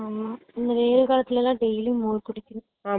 ஆமா இனி வெயில் காலத்துல எல்லாம் daily உம் மோர் குடிக்கணும்